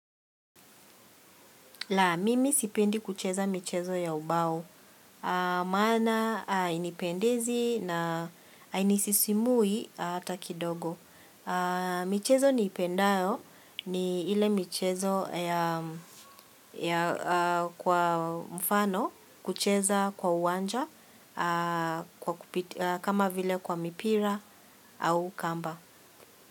La, mimi sipendi kucheza michezo ya ubao. Maana hainipendizi na hainisisimui hata kidogo. Michezo niipendayo ni ile michezo kwa mfano kucheza kwa uwanja kama vile kwa mipira au kamba.